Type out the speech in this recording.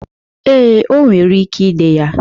Ee, o nwere ike de ya.